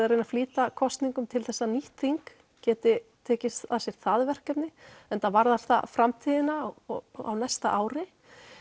að reyna að flýta kosningum til þess að nýtt þing geti tekið að sér það verkefni enda varðar það framtíðina og á næsta ári